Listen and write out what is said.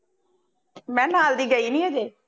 ਮੈਂ ਕਿਹਾ ਨਾਲ ਦੀ ਗਈ ਨਹੀਂ ਹਜੇ,